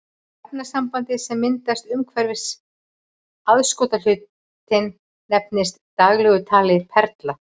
Efnasambandið sem myndast umhverfis aðskotahlutinn nefnist í daglegu tali perla.